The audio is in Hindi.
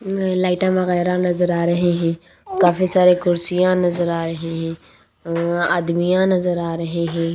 अह लाइटां वगैरह नजर आ रहे हैं काफी सारे कुर्सियां नजर आ रहे हैं अह आदमियां नजर आ रहे हैं।